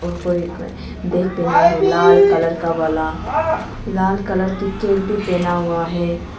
कोई कोई देख तो लाल कलर का वाला लाल कलर की कैप भी पहना हुआ है।